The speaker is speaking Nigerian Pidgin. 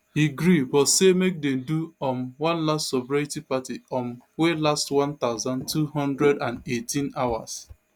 e gree but say make dem do um one last sobriety party um wey last one thousand, two hundred and eighteen hours